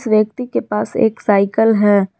व्यक्ति के पास एक साईकल है।